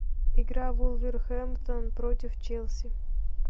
игра вулверхэмптон против челси